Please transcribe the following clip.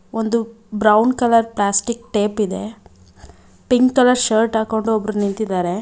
ಒಂದು brown colour plastic tape ಇದೆ pink colour shirt ಹಾಕೊಂಡು ಒಬ್ರು ನಿಂತಿದ್ದಾರೆ.